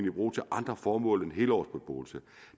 i brug til andre formål end helårsbeboelse